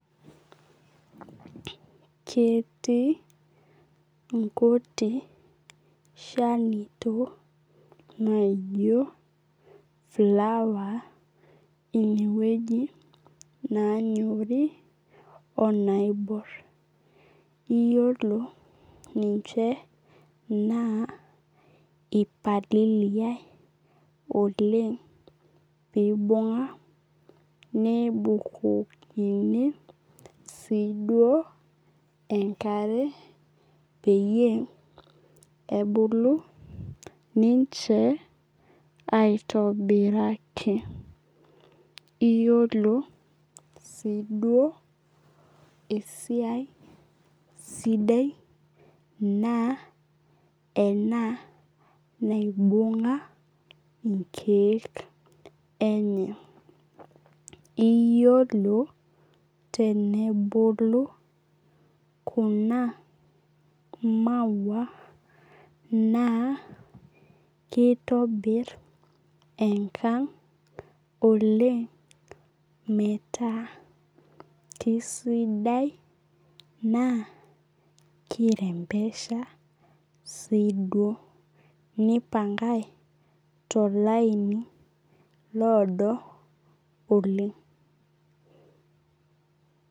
Ketii nkuti shanito naijo flower inewueji na ketii naibor onaanyori iyolo naa ipalilia oleng pibunga nebukokini siduo enkare peyie ebuku ninche aitobiraki iyolo si duo esiai sidai na ena naibunga nkiek neye, iyolo tenebulu kuna maua na keitobir enkang oleng metaa kisidai naa kirembesha si duo nipangae tolaini odo oleng